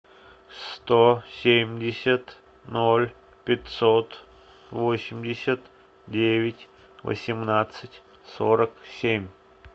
сто семьдесят ноль пятьсот восемьдесят девять восемнадцать сорок семь